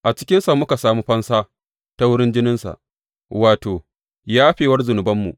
A cikinsa muka sami fansa ta wurin jininsa, wato, yafewar zunubanmu.